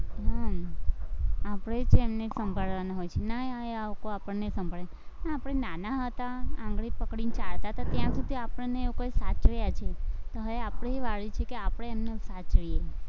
હમ આપણે જ એમને સંભાળવાના હોય છે, નયી આ લોકો આપણને સંભાળે, આપણે નાના હતા, આંગળી પકડીને ચાલતા તા ત્યાં સુધી આપણને એ લોકોએ સાચવ્યા છે, હવે આપણી વારો છે કે આપણે એમને સાચવીએ.